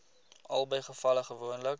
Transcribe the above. albei gevalle gewoonlik